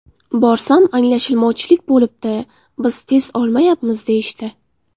Borsam: ‘Anglashilmovchilik bo‘libdi, biz test olmayapmiz’, deyishdi.